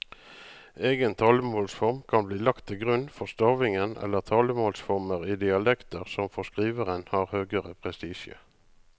Egen talemålsform kan bli lagt til grunn for stavingen eller talemålsformer i dialekter som for skriveren har høgere prestisje.